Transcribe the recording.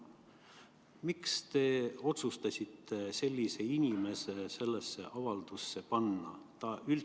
Miks te otsustasite sellise inimese sellesse avaldusse panna?